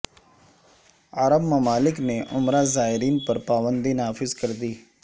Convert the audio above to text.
عرب ممالک نے عمرہ زائرین پر پابندی نافذ کردی